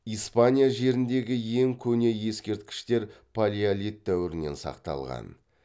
испания жеріндегі ең көне ескерткіштер палеолит дәуірінен сақталған